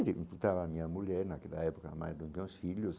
a minha mulher naquela época, mas não tinha os filhos.